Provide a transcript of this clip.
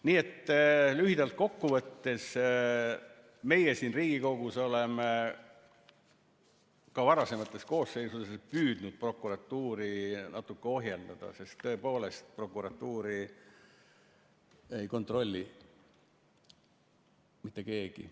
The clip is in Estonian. Nii et lühidalt kokku võttes, meie siin Riigikogus oleme ka varasemates koosseisudes püüdnud prokuratuuri natuke ohjeldada, sest tõepoolest, prokuratuuri ei kontrolli mitte keegi.